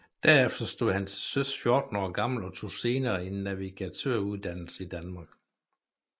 Derefter stod han til søs 14 år gammel og tog senere en navigatøruddannelse i Danmark